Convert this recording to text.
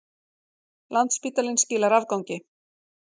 Landspítalinn skilar afgangi